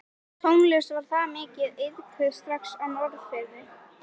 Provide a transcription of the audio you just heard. Tónlist var þar mikið iðkuð strax á Norðfirði.